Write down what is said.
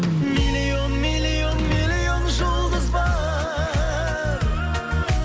миллион миллион миллион жұлдыз бар